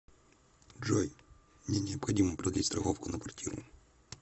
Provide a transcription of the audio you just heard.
джой мне необходимо продлить страховку на квартиру